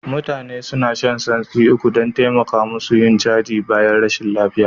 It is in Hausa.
Mutane suna shan santsi Ugu don taimaka musu yin caji bayan rashin lafiya